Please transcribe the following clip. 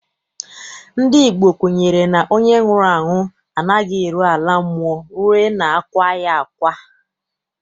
Ndị Igbo kwenyere na onye nwụrụ anwụ anaghị eru ala mmụọ rue na akwaa ya akwa.